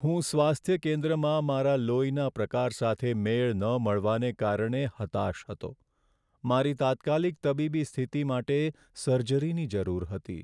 હું સ્વાસ્થ્ય કેન્દ્રમાં મારા લોહીના પ્રકાર સાથે મેળ ન મળવાને કારણે હતાશ હતો. મારી તાત્કાલિક તબીબી સ્થિતિ માટે સર્જરીની જરૂર હતી.